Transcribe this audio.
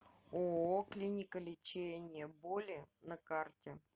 ооо клиника лечения боли на карте